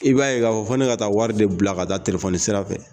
I b'a ye k'a fɔ fo ne ka taa wari de bila ka taa telefɔni sira fɛ